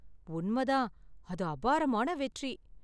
உண்மை தான்! அது அபாரமான வெற்றி.